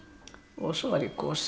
svo var ég kosin